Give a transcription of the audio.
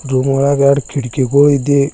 Room ಒಳಗ ಎರಡ್ ಕಿಡಿಕಿ ಗೋಳಿದೆ.